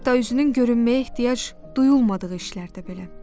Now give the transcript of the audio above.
Hətta üzünün görünməyə ehtiyac duyulmadığı işlərdə belə.